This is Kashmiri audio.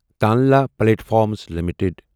Tanla platforms limited